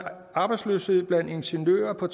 er